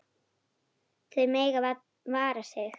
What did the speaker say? Þau mega vara sig.